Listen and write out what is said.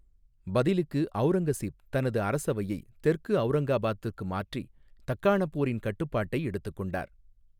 பதிலுக்கு அவுரங்கசீப் தனது அரசவையை தெற்கு அவுரங்காபாத்துக்கு மாற்றி, தக்காணப் போரின் கட்டுப்பாட்டை எடுத்துக் கொண்டார்.